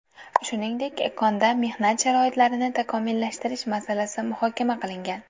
Shuningdek, konda mehnat sharoitlarini tashkillashtirish masalasi muhokama qilingan.